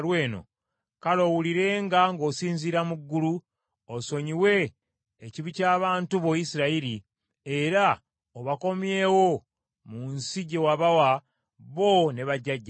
kale owulirenga ng’osinziira mu ggulu, osonyiwe ekibi ky’abantu bo Isirayiri era obakomyewo mu nsi gye wabawa bo ne bajjajjaabwe.